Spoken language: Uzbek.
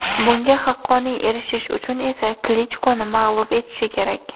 Bunga haqqoniy erishishi uchun esa Klichkoni mag‘lub etishi kerak.